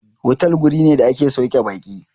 Otal wuri ne da ake sauke baƙi.